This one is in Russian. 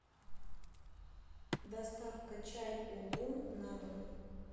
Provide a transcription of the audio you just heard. доставка чай улун на дом